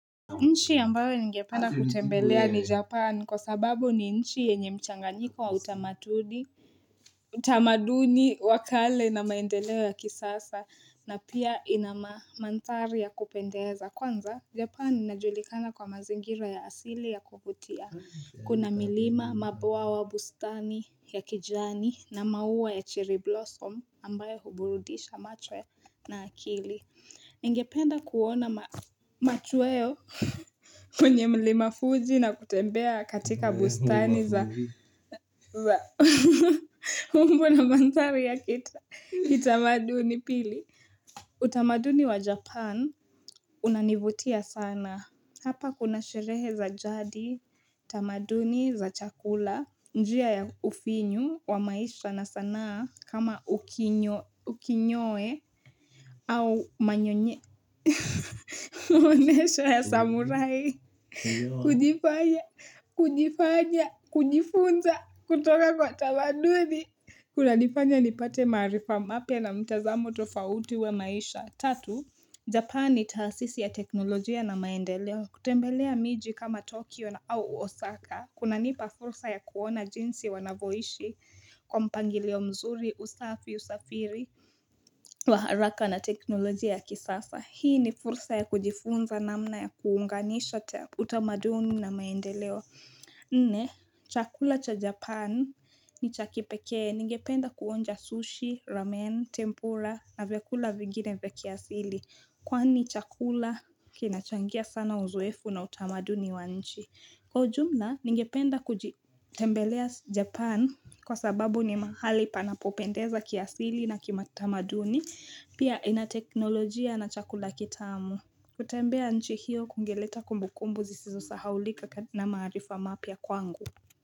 Nchi ambayo ningependa kutembelea ni japan kwa sababu ni nchi yenye mchanganiko wa utamaduni wa kale na maendeleo ya kisasa na pia inamandhari ya kupendeza kwanza japan inajulikana kwa mazingira ya asili ya kuvutia kuna milima mabwawa bustani ya kijani na maua ya cherry blossom ambayo huburudisha macho ya na akili Ningependa kuona machweo kwenye mlima fuji na kutembea katika bustani za mbu na mandhari ya kitamaduni pili. Utamaduni wa Japan unanivutia sana. Hapa kuna sherehe za jadi, utamaduni za chakula, njia ya ufinyu, wa maisha na sanaa kama ukinyoe au manyonye. Unesho ya samurai, kujifanya, kujifanya, kujifunza, kutoka kwa tamaduni. Kuna nifanya nipate maarifa mapya na mtazamo tofauti wq maisha. Tatu, Japani ni taasisi ya teknolojia na maendeleo. Kutembelea miji kama Tokyo na au Osaka. Kunanipa fursa ya kuona jinsi wanavoishi kwa mpangilio mzuri, usafi, usafiri, wa haraka na teknolojia ya kisasa. Hii ni fursa ya kujifunza namna ya kuunganisha utamaduni na maendeleo. Nne, chakula cha Japan ni cha kipekee. Ningependa kuonja sushi, ramen, tempura na vyakula vingine vya kiasili. Kwani chakula kinachangia sana uzoefu na utamaduni wa nchi. Kwa ujumla, ningependa kujitembelea Japan kwa sababu ni mahali panapopendeza kiasili na kimatamaduni. Pia inateknolojia na chakula kitamu kutembea nchi hiyo kungeleta kumbukumbu zisizosahaulika na maarifa mapya kwangu.